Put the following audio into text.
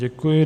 Děkuji.